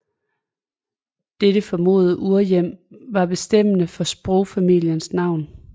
Dette formodede urhjem var bestemmende for sprogfamiliens navn